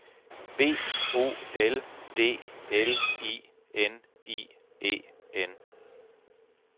B O L D L I N I E N